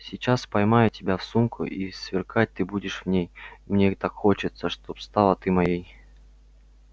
сейчас поймаю тебя в сумку и сверкать ты будешь в ней мне так хочется чтоб стала ты моей